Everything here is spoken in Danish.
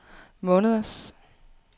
måneders